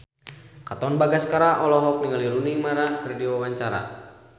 Katon Bagaskara olohok ningali Rooney Mara keur diwawancara